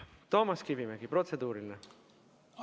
Toomas Kivimägi, protseduuriline!